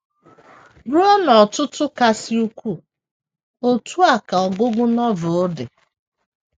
Ruo n’ọ̀tụ̀tụ̀ kasị ukwuu, otú a ka ọgụgụ Novel dị.